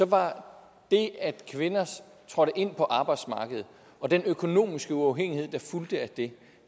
var det at kvinder trådte ind på arbejdsmarkedet og den økonomiske uafhængighed der fulgte af det